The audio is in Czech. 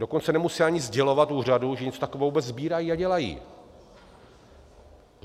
Dokonce nemusí ani sdělovat úřadu, že něco takového vůbec sbírají a dělají.